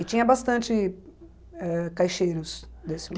E tinha bastante eh caixeiros desse